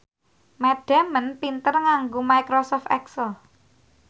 Matt Damon pinter nganggo microsoft excel